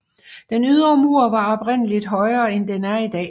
Den ydre mur var oprindeligt højere end den er i dag